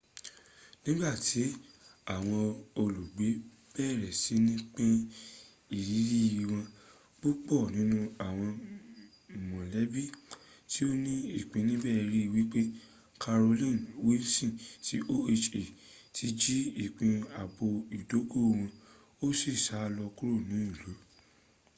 nigbati awon olugbe bere sini pin iriri won pupo ninu awon molebi ti o ni ipin nibe ri wipe carolyn wilson ti oha ti ji ipin aabo idogo won o si sa lo kuro ni ilu